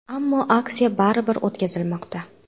Ammo aksiya baribir o‘tkazilmoqda.